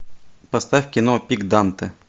поставь кино пик данте